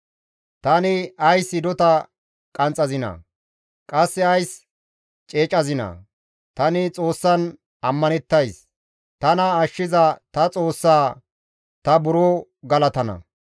Tani ays hidota qanxxazinaa? Qasse ays ceecazinaa? Tani Xoossan ammanettays; tana ashshiza ta Xoossaa ta buro galatana.